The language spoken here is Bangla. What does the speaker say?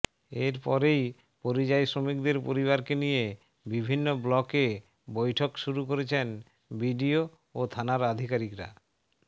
এরপরেই পরিযায়ী শ্রমিকদের পরিবারকে নিয়ে বিভিন্ন ব্লকে বৈঠক শুরু করেছেন বিডিও ও থানার আধিকারিকরা